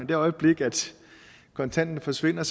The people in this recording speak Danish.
det øjeblik kontanterne forsvinder